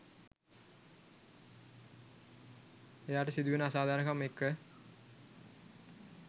එයාට සිදුවෙන අසාධාරණකම් එක්ක.